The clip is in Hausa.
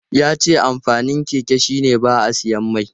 Ya ce amfanin keke shi ne ba a siyan mai.